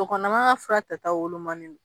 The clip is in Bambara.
Muso kɔnɔma ka fura ta taw wolomani no